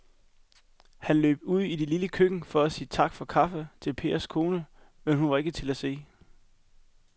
Han løb ud i det lille køkken for at sige tak for kaffe til Pers kone, men hun var ikke til at se.